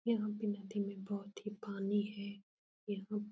यहाँ पे नदी में बोहोत ही पानी है। --